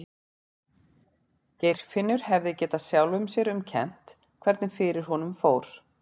Geirfinnur hefði getað sjálfum sér um kennt hvernig fyrir honum fór.